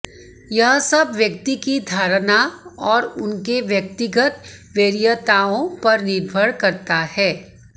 यह सब व्यक्ति की धारणा और उनके व्यक्तिगत वरीयताओं पर निर्भर करता है